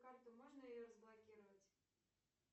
карту можно ее разблокировать